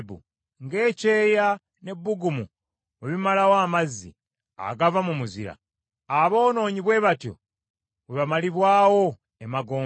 Nga ekyeeya n’ebbugumu bwe bimalawo amazzi agava mu muzira, aboonoonyi bwe batyo bwe bamalibwawo emagombe.